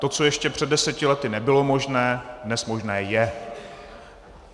To, co ještě před deseti lety nebylo možné, dnes možné je.